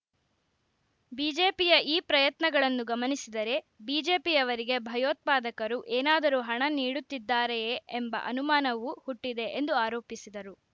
ಬಿಜೆಪಿಯ ಈ ಪ್ರಯತ್ನಗಳನ್ನು ಗಮನಿಸಿದರೆ ಬಿಜೆಪಿಯವರಿಗೆ ಭಯೋತ್ಪಾದಕರು ಏನಾದರೂ ಹಣ ನೀಡುತ್ತಿದ್ದಾರೆಯೇ ಎಂಬ ಅನುಮಾನವೂ ಹುಟ್ಟಿದೆ ಎಂದು ಆರೋಪಿಸಿದರು